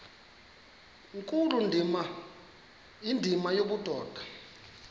nkulu indima yobudoda